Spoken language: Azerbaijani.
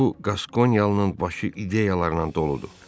Bu Qaskonyalının başı ideyalarla doludur.